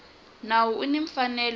nawu u ni mfanelo yo